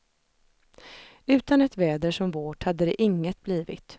Utan ett väder som vårt hade det inget blivit.